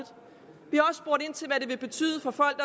vil betyde for folk